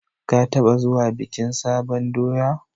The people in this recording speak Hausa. Ka taɓa zuwa bikin sabon doya?